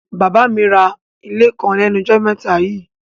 Bàbá mi ra àwọn ilé kan lẹ́nujọ́ mẹ́ta yíì.